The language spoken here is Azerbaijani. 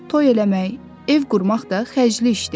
Toy eləmək, ev qurmaq da xərcli işdir.